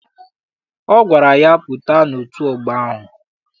Ọ gwara ya, pụta n'otu ọgbọ ahụ!